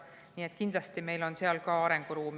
Nii et kindlasti on meil siin arenguruumi.